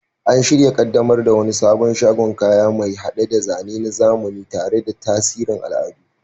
An shirya kaddamar da wani sabon shagon kaya, mai hade da zane na zamani tare da tasirin al'adu.